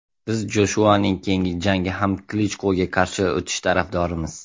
Biz Joshuaning keyingi jangi ham Klichkoga qarshi o‘tishi tarafdorimiz.